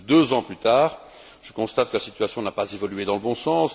Plus de deux ans plus tard, je constate que la situation n'a pas évolué dans le bon sens.